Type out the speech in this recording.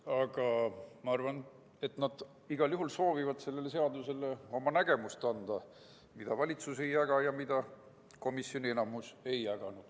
Aga ma arvan, et nad igal juhul soovivad sellele seadusele anda oma nägemuse, mida valitsus ei jaga ja mida ka enamik komisjoni liikmeid ei jaganud.